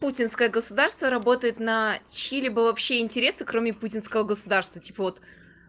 путинское государство работает на чьи-либо вообще интересы кроме путинского государство типа вот